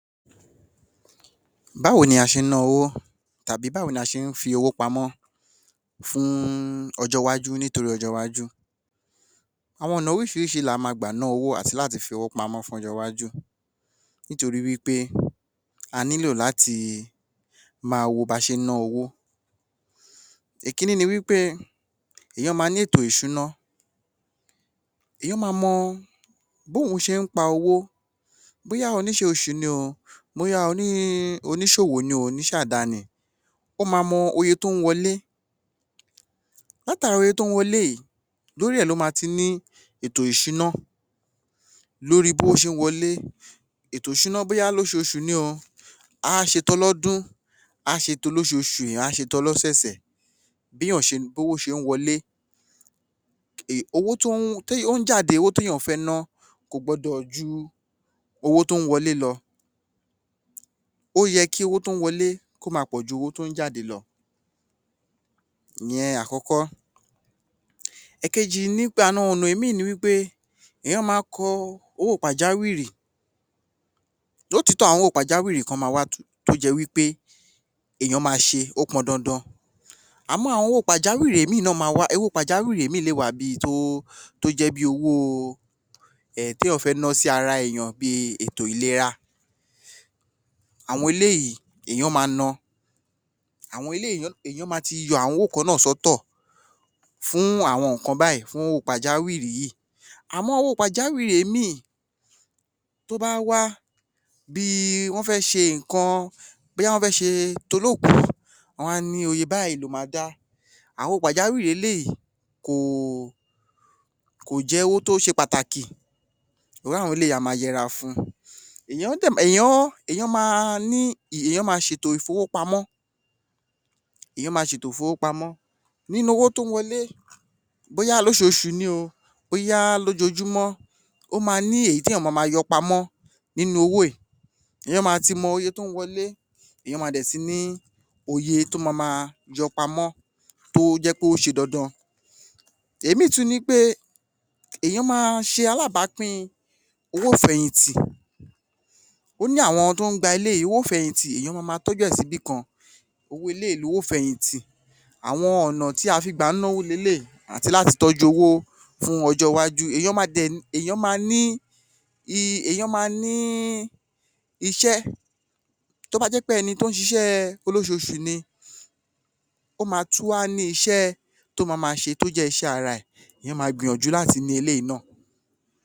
Báwo ni a ṣe ń náà owó tàbí báwo ni a ṣe ń fi owó pamọ́ fún ọjọ́-iwájú nítorí ọjọ́-iwájú? Àwọn ọ̀nà oríṣìíríṣìí lá máa gbà ná owó àti láti fi owó pamọ́ fún ọjọ́ iwajú nítorí wí pé a nílò láti máa wo bí a ṣe ń náà owó. Ìkíní ni wí pé èèyàn máa ní ètò-ìṣúná, èèyàn máa mọ bí òun ṣe ń pa owó, bóyá oníṣẹ́ oṣù ni o, bóyá oníṣòwò ni o, oníṣe-àdáni, ó máa mọ iye tó ń wọlẹ́, látara owó tó ń wọlẹ́ yìí, lórí ẹ̀ ló máa ti ni ètò ìṣúná lórí b'ówó ṣe ń wọlẹ́, ètò ìṣúná bóyá lóṣoṣù ni o, á ṣe t'ọlọ́dún, á ṣe t'olóṣoṣù, á ṣe t'ọlọ́sẹ̀sẹ̀, bí owó ṣe ń wọlẹ́, owó tó ń jáde, owó tí èèyàn fẹ́ ná, kò gbọ́dọ̀ ju owó tó ń wọlé lọ. Ó yẹ kí owó tó ń wọlẹ́ kó máa pọ̀jù owó tó ń jáde lọ, ìyẹn àkọ́kọ́. Ìkejí ni wí pé àwọn ọ̀nà mìí ni wí pé èèyàn máa kọ owó pàjáwìrì, lótìítọ́ àwọn owó pàjáwìrì kan máa wá tó jẹ́ wí pé èèyàn máa ṣe, ó pọn dandan, àmọ́ àwọn owó pàjáwìrì mìí náà máa wá, irú owó pàjáwìrì bí tó jẹ́ bi owó tí èèyàn fẹ́ náà sí ara èèyàn bí i ètò ìlera, àwọn eléyìí èèyàn máa náà, àwọn eléyìí, èèyàn máa ti yọ àwọn owó kan náà sọ́tọ̀ fụ́n àwọn ǹnkan báyìí, fún àwọn owó pàjáwìrì yìí, àmọ́ owó pàjáwìrì mìí, tó bá wá, bí i wọń fẹ́ ṣe ǹnkan, bóyá wọ́n fẹ́ ṣe ti olókùú, wá ní iye báyìí lo máa dá, àwọn pàjáwìrì eléyìí kò jẹ́ owó tó ṣe pàtàkì, irú àwọn eléyìí, a máa yẹra fun. Èèyàn máa ni, èèyàn máa ṣètò ìfowópamọ́, èèyàn máa ṣètò ìfowópamọ́, nínú owó tó ń wọlẹ́, bóyá lóṣoṣù ni, bóyá lójojúmọ́, ó máa ni èyí tí èèyàn máa ma yọ pamọ́ nínú owó yìí, èèyàn máa ti mọ iye tó ń wọlẹ́, èèyan máa ti ní iye tó máa ma yọ pamọ́ tó jẹ́ wí pé ó ṣe dandan, òmíràn tún ni pé èèyàn máa ṣe alábápín owó ìfẹ̀yìntì, ó ní àwọn tó ń gba eléyìí, owó ìfẹ̀yìntì, èèyàn máa ma tọ́jú rẹ̀ síbi kan, owó eléyìí ni owó ìfẹ̀yìntì. Àwọn ọ̀nà tí a fí ń gbà ná owó ni eleyìí, àti láti tọ́jú owó fún ọjọ́ iwájú, èèyàn dẹ̀ máa ní, èèyàn máa ní iṣẹ́, tó bá jẹ́ wí pé ẹni tó ń ṣiṣẹ́ olóṣoṣù ni, ó máa tún wá ní iṣẹ́ tó máa ma ṣe tó jẹ́ iṣẹ́ ara ẹ̀. Èèyàn máa gbìyànjú láti ní eléyìí náà.